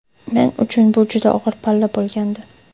Men uchun bu juda og‘ir palla bo‘lgandi.